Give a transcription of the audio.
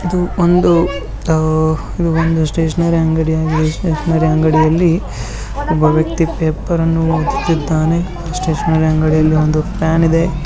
ಇದು ಒಂದು ಅಅ ಇದು ಒಂದು ಸ್ಟೇಷನರಿ ಅಂಗಡಿಯಾಗಿದೆ. ಸ್ಟೇಷನರಿ ಅಂಗಡಿಯಲ್ಲಿ ಒಬ್ಬ ವ್ಯಕ್ತಿ ಪೇಪರನ್ನು ಓದುತ್ತಿದ್ದಾನೆ. ಸ್ಟೇಷನರಿ ಅಂಗಡಿಯಲ್ಲಿಒಂದು ಫ್ಯಾನಿದೆ .